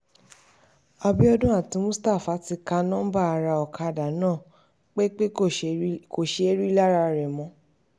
àbíọdún àti mustapha ti ka um nọ́ńbà ará ọ̀kadà náà péńpé kò um ṣeé rí i lára rẹ̀ mọ́